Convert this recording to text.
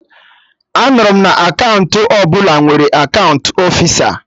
Anụrụ m na akaụntụ ọbụla nwere akaụntụ ofisa